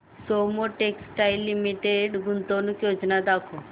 Soma textile limited गुंतवणूक योजना दाखव